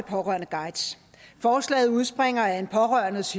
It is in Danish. pårørendeguide forslaget udspringer af en pårørendes